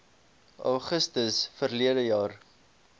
augustus verlede jaar